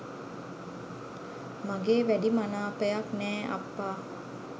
මගේ වැඩි මනාපයක් නෑ අප්පා